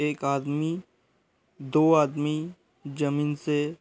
एक आदमी दो आदमी जमीन से --